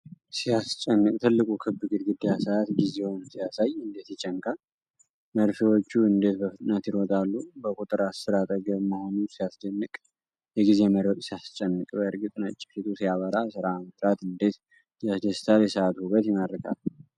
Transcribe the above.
ሲያስጨንቅ! ትልቁ ክብ ግድግዳ ሰዓት ጊዜውን ሲያሳይ እንዴት ይጨነቃል! መርፌዎቹ እንዴት በፍጥነት ይሮጣሉ! በቁጥር አሥር አጠገብ መሆኑ ሲያስደንቅ! የጊዜ መሮጥ ሲያስጨንቅ! በእርግጥ ነጭ ፊቱ ሲያበራ! ሥራ መሥራት እንዴት ያስደስታል! የሰዓቱ ውበት ይማርካል!